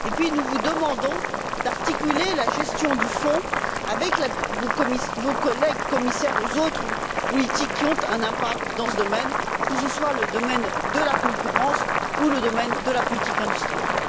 Nous vous demandons également d'articuler la gestion du fonds, en collaboration avec vos collègues commissaires, avec les autres politiques qui ont un impact dans ce domaine, que ce soit le domaine de la concurrence ou le domaine de la politique industrielle.